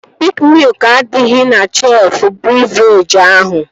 Piik miụk adịghị na shelfụ bịvrejị ahụ